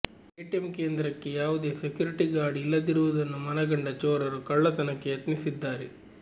ATM ಕೇಂದ್ರಕ್ಕೆ ಯಾವುದೇ security guard ಇಲ್ಲದಿರುವುದನ್ನು ಮನಗಂಡ ಚೋರರು ಕಳ್ಳತನಕ್ಕೆ ಯತ್ನಿಸಿದ್ದಾರೆ